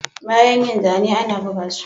Bayan yin zane ana buga su